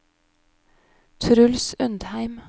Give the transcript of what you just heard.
Truls Undheim